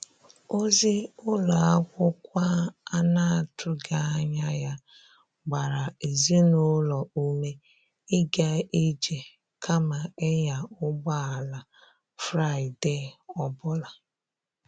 Ozi ụlọ akwụkwọ a na-atụghị anya ya gbara ezinụlọ ume ịga ije kama ịnya ụgbọ ala Fraịde ọ bụla.